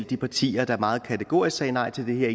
de partier der meget kategorisk sagde nej til det her